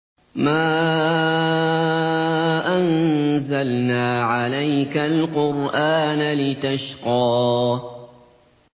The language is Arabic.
مَا أَنزَلْنَا عَلَيْكَ الْقُرْآنَ لِتَشْقَىٰ